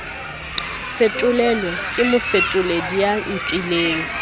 fetolelwe ke mofetoledi ya nkileng